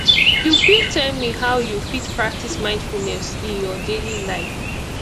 you fit tell me how you fit practice mindfulness in your daily life